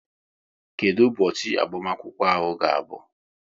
Kedụ ụbọchị agbamakwụkwọ ga-abụ?